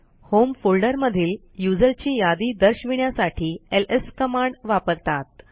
home फोल्डरमधील user ची यादी दर्शविण्यासाठी एलएस कमांड वापरतात